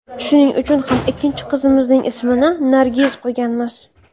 Shuning uchun ham ikkinchi qizimizning ismini Nargiz qo‘yganmiz.